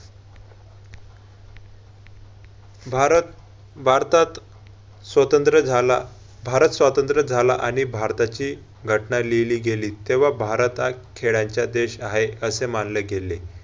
भारत, भारतात स्वतंत्र झाला भारत स्वतंत्र झाला आणि भारताची घटना लिहिली गेली. तेव्हा, भारत हा खेळायचा देश आहे, असे मानले गेले.